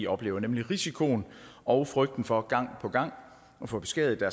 oplever nemlig risikoen og frygten for gang på gang at få beskadiget